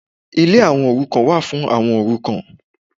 Ilé àwọn òrukàn wà fún àwọn òrukàn